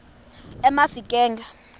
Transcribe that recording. emafikeng